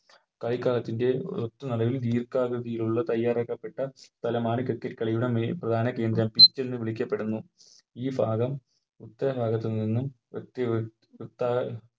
കളിക്കളത്തിൻറെ ഒത്ത നടുവിൽ ദീർഘകൃതിയിലുള്ള തയ്യാറാക്കപ്പെട്ട സ്ഥലമാണ് Cricket കളിയുടെ Main പ്രധാന കേന്ദ്രം Pitch എന്ന് വിളിക്കപ്പെട്ടുന്നു ഈ ഭാഗം മറ്റേ ഭാഗത്തുനിന്നും ഒത്തിരി വൃത്ത